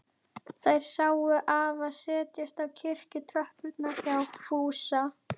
Þær sáu afa setjast á kirkjutröppurnar hjá Fúsa.